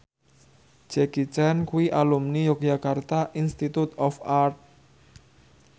Jackie Chan kuwi alumni Yogyakarta Institute of Art